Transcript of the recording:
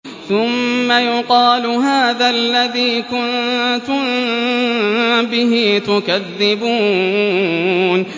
ثُمَّ يُقَالُ هَٰذَا الَّذِي كُنتُم بِهِ تُكَذِّبُونَ